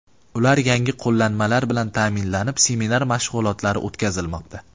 Ular yangi qo‘llanmalar bilan ta’minlanib, seminar mashg‘ulotlari o‘tkazilmoqda.